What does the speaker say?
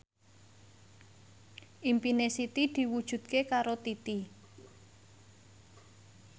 impine Siti diwujudke karo Titi